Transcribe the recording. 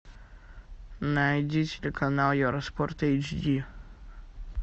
найди телеканал евроспорт эйч ди